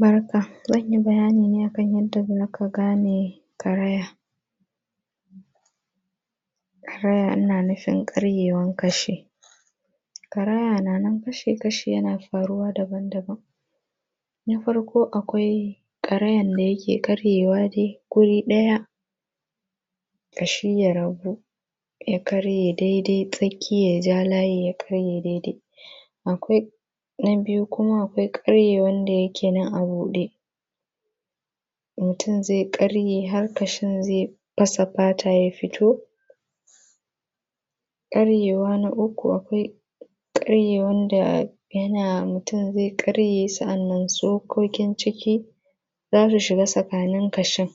Barka. Zan yi bayani ne a kan yadda za ka gane karaya. Karaya ina nufin karyewan ƙashi. Karaya na nan kashi-kashi yana faruwa daban-daban. Na farko akwai karayan da yake karyewa dai guri ɗaya ƙashi ya rabu ya karye daidai tsakiya ya ja layi ya karye daidai. Akwai, na biyu kuma akwai karyewan da yake nan a buɗe, mutum zai karye har ƙashin zai fasa fata ya fito. Karyewa na uku, akwai karyewan da yana mutum zai karye sa’annan tsokokin ciki za su shiga tsakanin ƙashin.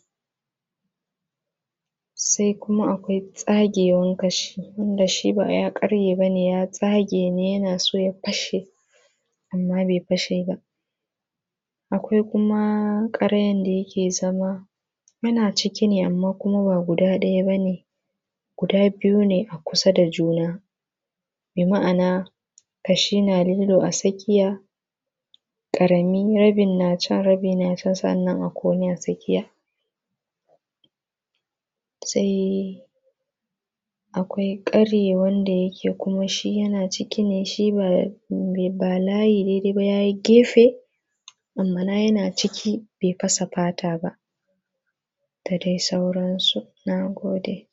Sai kuma akwai tsagewan ƙashi wanda shi ba ya karye ba ne, ya tsage ne yana so ya fashe, amma bai fashe ba. Akwai kuma karayan da yake zama, yana ciki ne amma kuma ba guda ɗaya ba ne, guda biyu ne a kusa da juna. Bi ma’ana, ƙashi na lilo a tsakiya, ƙarami, rabin na can, rabi na can sa’annan akwai wani a tsakiya. Sai akwai ƙari wanda yake kuma shi yana ciki ne. shi ba layi ne dai ba, ya yi gefe, ma’ana yana ciki bai fasa fata ba, da dai sauransu. Na gode.